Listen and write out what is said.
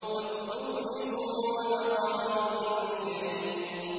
وَكُنُوزٍ وَمَقَامٍ كَرِيمٍ